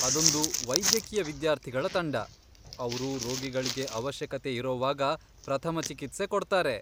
ಅದೊಂದು ವೈದ್ಯಕೀಯ ವಿದ್ಯಾರ್ಥಿಗಳ ತಂಡ, ಅವ್ರು ರೋಗಿಗಳ್ಗೆ ಅವಶ್ಯಕತೆ ಇರೋವಾಗ ಪ್ರಥಮ ಚಿಕಿತ್ಸೆ ಕೊಡ್ತಾರೆ.